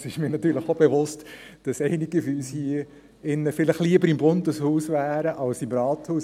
Es ist mir natürlich auch bewusst, dass einige von uns hier drin vielleicht lieber im Bundeshaus wären als im Rathaus.